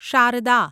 Sharda